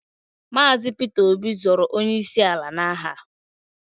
Maazi Peter Obi zọọrọ onye isi ala na aha.